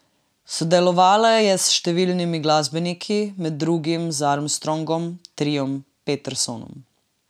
Sodelovala je s številnimi glasbeniki, med drugim z Armstrongom, triom Petersonom.